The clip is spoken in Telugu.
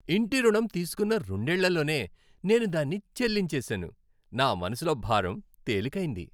ఇంటి రుణం తీసుకున్న రెండేళ్లలోనే నేను దాన్ని చెల్లించేశాను, నా మనసులో భారం తేలికైంది.